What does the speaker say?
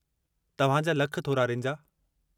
तव्हां जा लख थोरा, रिंजा।